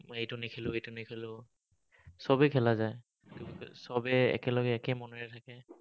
মই এইটো নেখেলো, সেইটো নেখেলো। চবেই খেলা যায়। চবেই একেলগে একে মনেৰে থাকে।